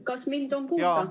Kas mind on kuulda?